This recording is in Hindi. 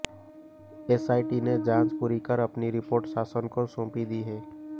एसआईटी ने जांच पूरी कर अपनी रिपोर्ट शासन को सौंपी दी है